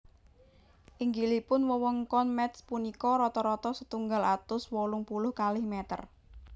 Inggilipun wewengkon Métz punika rata rata setunggal atus wolung puluh kalih mèter